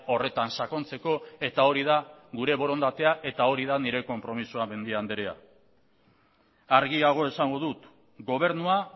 horretan sakontzeko eta hori da gure borondatea eta hori da nire konpromisoa mendia andrea argiago esango dut gobernua